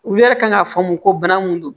U yɛrɛ kan ka faamu ko bana mun don